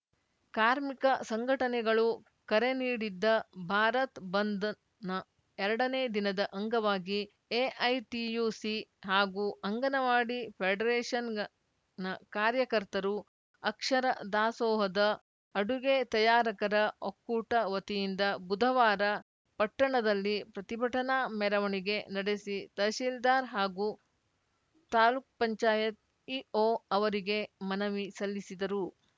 ಕಾರ್ಮಿಕ ಸಂಘಟನೆಗಳು ಕರೆ ನೀಡಿದ್ದ ಭಾರತ್‌ ಬಂದ್‌ನ ಎರಡನೇ ದಿನದ ಅಂಗವಾಗಿ ಎಐಟಿಯುಸಿ ಹಾಗೂ ಅಂಗನವಾಡಿ ಫೆಡರೇಷನ್‌ನ ಕಾರ್ಯಕರ್ತರು ಅಕ್ಷರ ದಾಸೋಹದ ಅಡುಗೆ ತಯಾರಕರ ಒಕ್ಕೂಟ ವತಿಯಿಂದ ಬುಧವಾರ ಪಟ್ಟಣದಲ್ಲಿ ಪ್ರತಿಭಟನಾ ಮೆರವಣಿಗೆ ನಡೆಸಿ ತಹಸೀಲ್ದಾರ್‌ ಹಾಗೂ ತಾಲುಕ್ ಪಂಚಾಯತ್ ಇಒ ಅವರಿಗೆ ಮನವಿ ಸಲ್ಲಿಸಿದರು